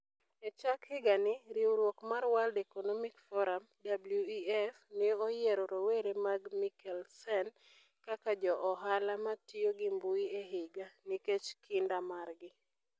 E chak higani, riwruok mar World Economic Forum (WEF) ne oyiero rowere mag Mikkelsen kaka jo ohala ma tiyo gi mbui e higa, nikech kinda margi.